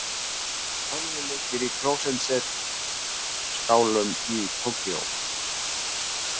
Tölvuleikir í klósettskálum í Tókýó